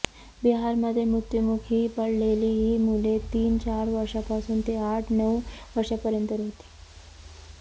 बिहारमध्ये मृत्यूमुखी पडलेली ही मुले तीन चार वर्षापासून ते आठ नऊ वर्षापर्यंतची होती